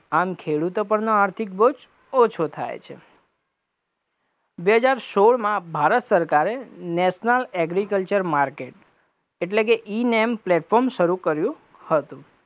આમ ખેડૂતો પરનો આર્થિક બોજ ઓછો થાય છે, બે હજાર સોળમા ભારત સરકારે national agriculture market એટલે કે E -name platform શરુ કર્યું હતું,